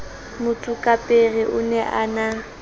motsokapere o ne a na